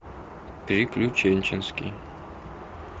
приключенческий